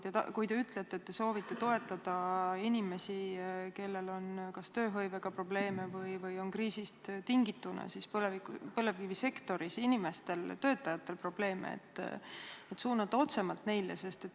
Kui te ütlete, et te soovite toetada inimesi, kellel on tööhõivega probleeme, või kriisist tingituna põlevkivisektori töötajaid, kellel on probleeme, siis võiks suunata otse neile.